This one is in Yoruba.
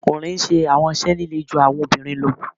Awọn ọkunrin ṣe awọn iṣẹ lile ju awọn obinrin lọ